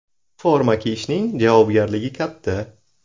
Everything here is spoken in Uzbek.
Forma kiyishning javobgarligi katta.